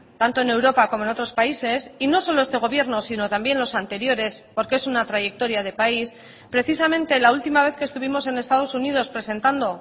tanto en europa como en otros países y no solo este gobierno sino también los anteriores porque es una trayectoria de país precisamente la última vez que estuvimos en estados unidos presentando